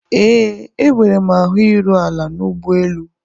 Ee, enwere m ahụ iru ala n'ụgbọelu.